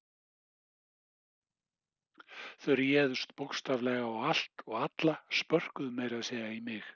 Þau réðust bókstaflega á allt og alla, spörkuðu meira að segja í mig.